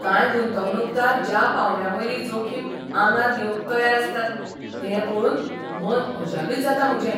कांय गुंतवणूकदार ज्या पांवड्यावयली जोखीम आंगार घेवंक तयार आसतात तें पळोवन मन अजापित जाता म्हजें.